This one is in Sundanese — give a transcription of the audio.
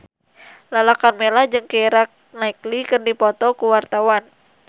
Lala Karmela jeung Keira Knightley keur dipoto ku wartawan